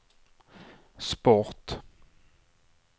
sport